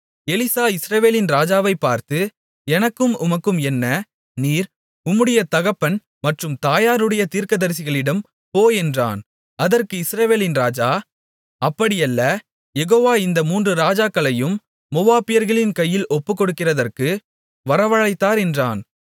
Elisha இஸ்ரவேலின் ராஜாவைப் பார்த்து எனக்கும் உமக்கும் என்ன நீர் உம்முடைய தகப்பன் மற்றும் தாயாருடைய தீர்க்கதரிசிகளிடம் போ என்றான் அதற்கு இஸ்ரவேலின் ராஜா அப்படியல்ல யெகோவா இந்த மூன்று ராஜாக்களையும் மோவாபியர்களின் கையில் ஒப்புக்கொடுக்கிறதற்கு வரவழைத்தார் என்றான்